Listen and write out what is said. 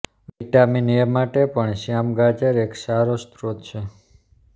vitamin A માટે પણ શ્યામ ગાજર એક સારો સ્ત્રોત છે